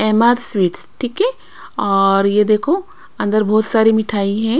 MR sweets ठीक है और ये देखो अंदर बहुत सारी मिठाई है।